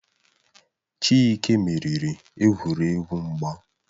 Chike meriri egwuregwu mgba